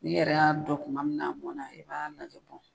N yɛrɛ y'a dɔn kuma min n'a mɔna i b'a lajɛ